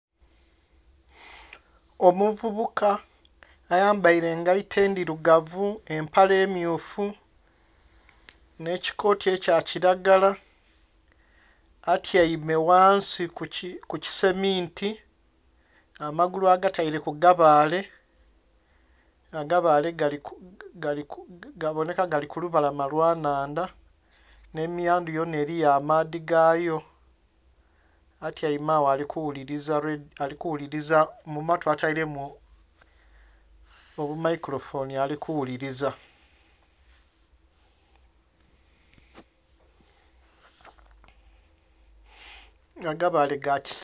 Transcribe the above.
Omuvubuka ayambaile engaito endhirugavu empale mmyufu nh'ekikooti ekya kilagala atyaime wansi ku kiseminti amagulu agataire ku gabaale, agabaale gaboneka gali ku lubalama lwa nnhandha. Nh'emiyandhu yona eliyo amaadhi gayo. Atyaime agho ali kuwuliriza, mu matu atailemu obumaikulofoni ali kuwuliriza... agabaale ga kisitaka.